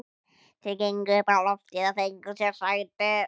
Þeir gengu upp á loftið og fengu sér sæti.